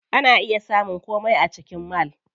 Ana iya samun komai a cikin mall.